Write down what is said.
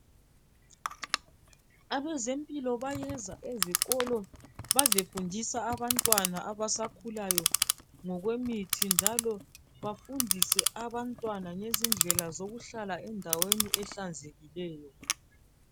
Abezempilo bayeza ezikolo bazefundisa abantwana abasakhulayo ngokwemithi njalo bafundise abantwana ngezindlela zokuhlala endaweni ehlanzekileyo